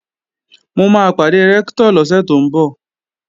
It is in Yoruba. Mo máa pàdé Rẹ́ktọ̀ lọ́sẹ̀ tó ń bọ̀